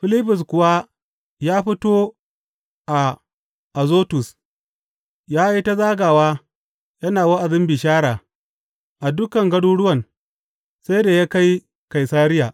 Filibus kuwa ya fito a Azotus, ya yi ta zagawa, yana wa’azin bishara a dukan garuruwan sai da ya kai Kaisariya.